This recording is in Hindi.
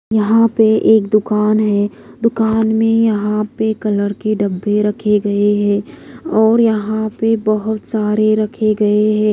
यहां पे एक दुकान है दुकान में यहां पे कलर के डब्बे रखे गए हैं और यहां पे बहोत सारे रखे गए हैं।